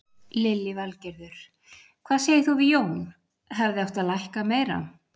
Lillý Valgerður: Hvað segir þú við því Jón, hefði átt að lækka meira?